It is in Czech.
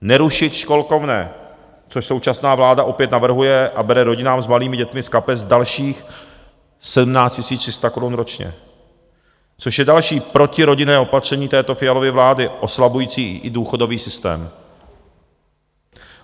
Nerušit školkovné, což současná vláda opět navrhuje a bere rodinám s malými dětmi z kapes dalších 17 300 korun ročně, což je další protirodinné opatření této Fialovy vlády oslabující i důchodový systém.